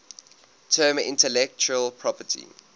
term intellectual property